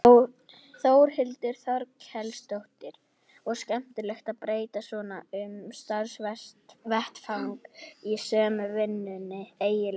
Þórhildur Þorkelsdóttir: Og skemmtilegt að breyta svona um starfsvettvang í sömu vinnunni eiginlega?